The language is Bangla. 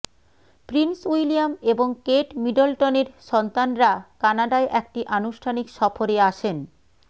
প্রিন্স উইলিয়াম এবং কেট মিডলটনের সন্তানরা কানাডায় একটি আনুষ্ঠানিক সফরে আসেন